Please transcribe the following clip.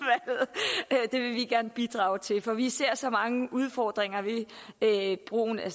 jeg udvalget det vil vi gerne bidrage til for vi ser så mange udfordringer ved brugen af